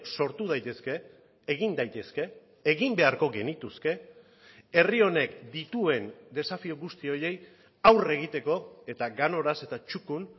sortu daitezke egin daitezke egin beharko genituzke herri honek dituen desafio guzti horiei aurre egiteko eta ganoraz eta txukun